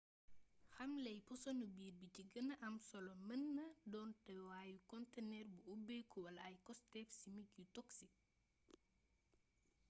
xamley posonu biir bi ci gëna am solo mën naa doon teewaayu kontëneer bu ubbeeku wala ay costéef simik yu toksik